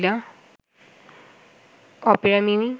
Opera mini